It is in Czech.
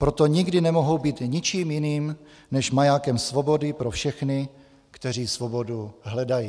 Proto nikdy nemohou být ničím jiným než majákem svobody pro všechny, kteří svobodu hledají.